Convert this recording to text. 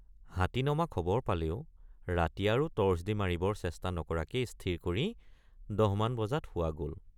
হাতী নমা খবৰ পালেও ৰাতি আৰু টৰ্চ দি মাৰিবৰ চেষ্টা নকৰাকেই স্থিৰ কৰি ১০মান বজাত শোৱা গল।